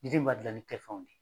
Diden ma gilan ni kɛ fɛnw na.